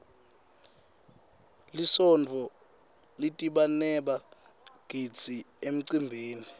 lisontfo litdbaneba gidzi emcimbini